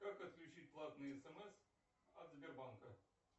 как отключить платные смс от сбербанка